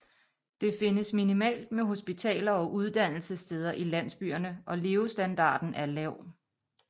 Det findes minimalt med hospitaler og uddannelsessteder i landsbyerne og levestandarden er lav